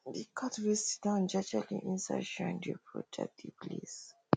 the cat way sidown jejeli inside shrine dey protect the place